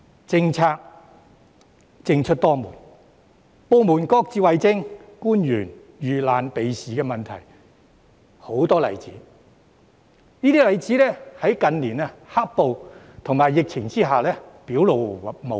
政策政出多門、部門各自為政、官員遇難避事的例子很多，而有關問題在近年"黑暴"及疫情下更表露無遺。